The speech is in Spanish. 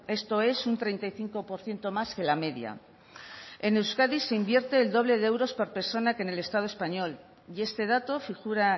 esto es un treinta y cinco por ciento más que la media en euskadi se invierte el doble de euros por persona que en el estado español y este dato figura